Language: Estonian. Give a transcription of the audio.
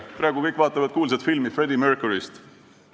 Praegu vaatavad kõik kuulsat filmi Freddie Mercuryst.